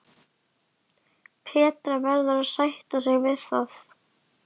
Petra verður að sætta sig við það.